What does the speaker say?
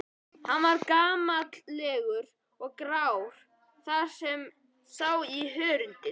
Hann var gamallegur og grár þar sem sá í hörundið.